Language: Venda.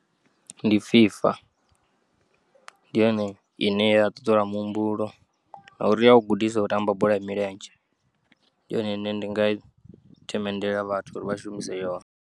Ndi FIFA, ndi yone ine ya ṱuṱula muhumbulo ngauri iya u gudisa u tamba bola ya milenzhe, ndi yone ine nda nga yi themendela vhathu uri vha shumise yone.